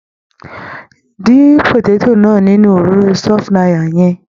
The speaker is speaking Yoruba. Dín pòtétò náà nínú òróró sunflower yẹn.